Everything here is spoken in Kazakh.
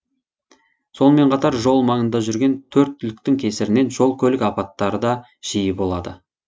сонымен қатар жол маңында жүрген төрт түліктің кесірінен жол көлік апаттары да жиі болады